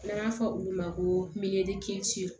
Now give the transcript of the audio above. N'an b'a fɔ olu ma ko